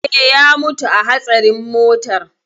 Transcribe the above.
Eh, ya mutu a hatsarin motar.